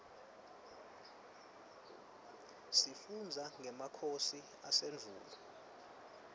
sifundza ngemakhosi asendvulo